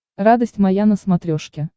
радость моя на смотрешке